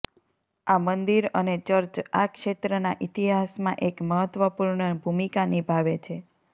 આ મંદિર અને ચર્ચ આ ક્ષેત્રના ઇતિહાસમાં એક મહત્વપૂર્ણ ભૂમિકા નિભાવે છે